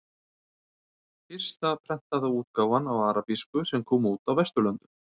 Fyrsta prentaða útgáfan á arabísku sem kom út á Vesturlöndum.